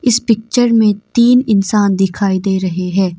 इस पिक्चर में तीन इंसान दिखाई दे रहे है।